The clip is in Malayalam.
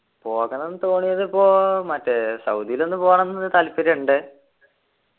പോകണംന്ന് തോന്നിയത് ഇപ്പോ മറ്റേ സൗദിയിൽ ഒന്ന് പോണംന്ന് താല്പര്യണ്ട്